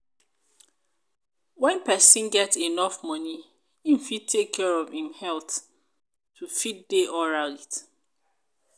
when persin get enough money im fit take care of im health to fit de alright